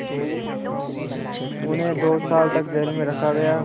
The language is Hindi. उन्हें दो साल तक जेल में रखा गया